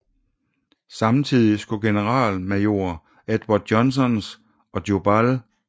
Samtidig skulle generalmajor Edward Johnsons og Jubal A